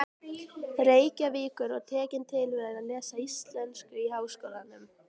Reykjavíkur og tekin til við að lesa íslensku í Háskólanum.